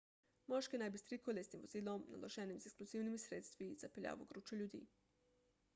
moški naj bi s trikolesnim vozilom naloženim z eksplozivnimi sredstvi zapeljal v gručo ljudi